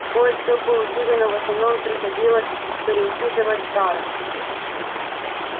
кое-что получили но в основном приходилось переучитывать старых